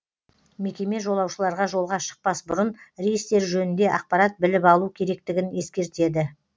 мекеме жолаушыларға жолға шықпас бұрын рейстер жөнінде ақпарат біліп алу керектігін ескертеді